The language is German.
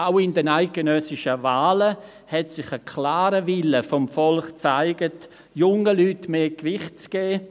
Auch in den letzten eidgenössischen Wahlen zeigte sich ein klarer Wille des Volks, jungen Leuten mehr Gewicht zu geben.